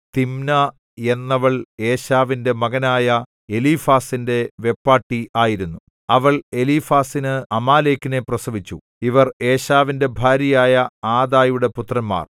Timna എന്നവൾ ഏശാവിന്റെ മകനായ എലീഫാസിന്റെ വെപ്പാട്ടി ആയിരുന്നു അവൾ എലീഫാസിന് അമാലേക്കിനെ പ്രസവിച്ചു ഇവർ ഏശാവിന്റെ ഭാര്യയായ ആദായുടെ പുത്രന്മാർ